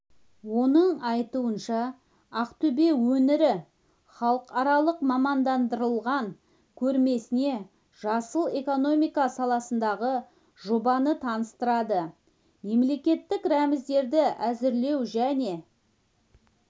оның айтуынша ақтөбе өңірі халықаралық мамандандырылған көрмесінде жасыл экономика саласындағы жобаны таныстырады мемлекеттік рәміздерді әзірлеу және